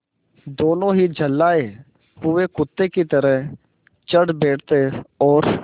दोनों ही झल्लाये हुए कुत्ते की तरह चढ़ बैठते और